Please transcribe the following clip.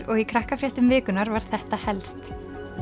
og í Krakkafréttum vikunnar var þetta helst